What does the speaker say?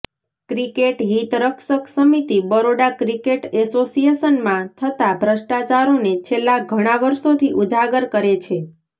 cricket હિત રક્ષક સમિતિ બરોડા ક્રિકેટ એસોસિયેશનમાં થતા ભ્રષ્ટ્રાચારોને છેલ્લા ઘણા વર્ષોથી ઉજાગર કરે છે